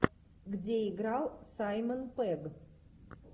где играл саймон пегг